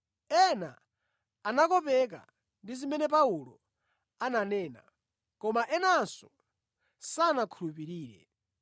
Ena anakopeka ndi zimene Paulo ananena, koma enanso sanakhulupirire.